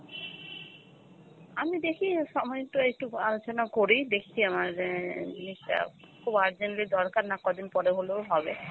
আমি দেখি সময় তো এইটুক আলোচনা করি, দেখি আমাদের ইয়ে টা, খুব urgently দরকার না, কদিন পরে হলেও হবে।